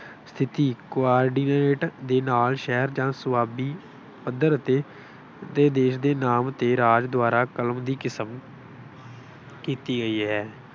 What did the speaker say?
ਸਥਿਤੀ co-ordinate ਦੇ ਨਾਲ ਸ਼ਹਿਰ ਜਾਂ ਸਵਾਬੀ ਪੱਧਰ ਅਤੇ ਦੇਸ਼ ਦੇ ਨਾਮ ਤੇ ਰਾਜ ਦੁਆਰਾ ਕਲਮ ਦੀ ਕਿਸਮ ਕੀਤੀ ਗਈ ਹੈ।